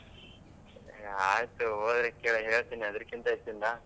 ಆಯ್ತು ಹೋದ್ರೆ ಹೇಳ್ತಿನಿ ಅದ್ರಕ್ಕಿಂತ ಹೆಚ್ಚಿಂದ.